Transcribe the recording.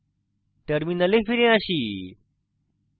terminal ফিরে আসি